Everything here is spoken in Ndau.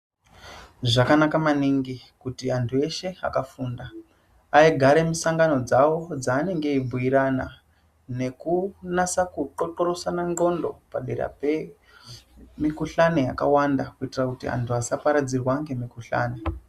Zvakanaka maningi kuti antu eshe akafunda aigare misangano dzavo dzaanenge eibhuirana nekunasa kuthxothxorosana ndxondo padera pemikuhlani yakawanda kuitira kuti antu asaparadzirwa ngemikuhlani .